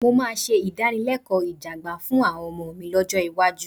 Mo ṣe ìdánilẹ́kọ̀ọ́ ìjẹgàba fún àwọn ọmọ mi lọ́jọ́ iwájú